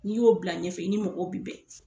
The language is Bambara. N'i y'o bila ɲɛfɛ i ni mɔgɔw bi bɛn